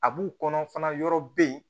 A b'u kɔnɔ fana yɔrɔ be yen